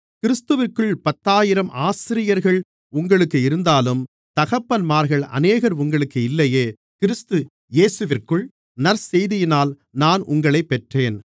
கிறிஸ்துவிற்குள் பத்தாயிரம் ஆசிரியர்கள் உங்களுக்கு இருந்தாலும் தகப்பன்மார்கள் அநேகர் உங்களுக்கு இல்லையே கிறிஸ்து இயேசுவிற்குள் நற்செய்தியினால் நான் உங்களைப்பெற்றேன்